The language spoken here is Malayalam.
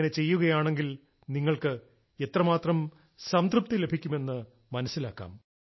അങ്ങനെ ചെയ്യുകയാണെങ്കിൽ നിങ്ങൾക്ക് എത്ര മാത്രം സംതൃപ്തി ലഭിക്കുമെന്ന് മനസ്സിലാക്കാം